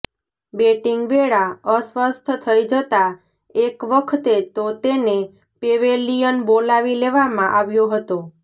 batting વેળા ે અસ્વસ્થ થઇ જતા એક વખતે તો તેને પેવેલિયન બોલાવી લેવામાં આવ્યો હતો